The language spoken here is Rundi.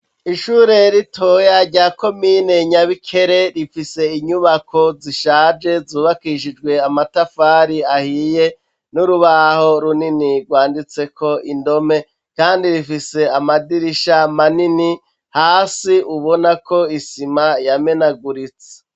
Ishure ritoya rya komine Nyabikere rifise inyubako zishaje zubakishijwe amatafari ahiye n'urubaho runini rwanditseko indome kandi rifise amadirisha manini, hasi ubona ko isima yamenaguritse.